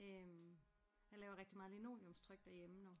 Øh jeg laver rigtig meget linoleumstryk derhjemme nu